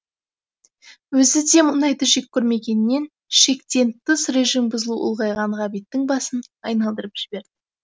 өзі де мұндайды жек көрмегенмен шектен тыс режим бұзылу ұлғайған ғабиттің басын айналдырып жіберді